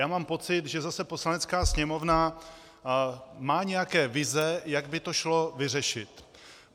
Já mám pocit, že zase Poslanecká sněmovna má nějaké vize, jak by to šlo vyřešit.